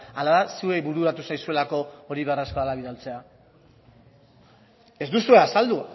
ala da zuei bururatu zaizuelako hori behar ez bada bidaltzea ez duzue azaldu